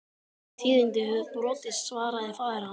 Þau tíðindi höfðu borist, svaraði faðir hans.